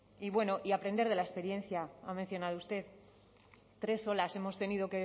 y bueno y aprender de la experiencia ha mencionado usted tres olas hemos tenido